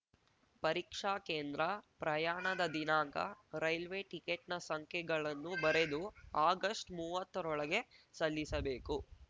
ಪರೀಕ್ಷಾ ಕೇಂದ್ರ ಪ್ರಯಾಣದ ದಿನಾಂಕ ರೈಲ್ವೆ ಟಿಕೆಟ್‌ನ ಸಂಖ್ಯೆಗಳನ್ನು ಬರೆದು ಆಗಷ್ಟ್ಮೂವತ್ತೋರಳಗೆ ಸಲ್ಲಿಸಬೇಕು